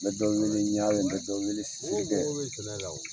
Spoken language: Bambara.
Bɛ dɔ weleƝare, bɛ dɔn wele Sidikɛ